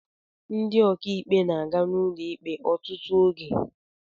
Ndị ọkà ikpe na-aga ụlọ ikpe ọtụtụ oge.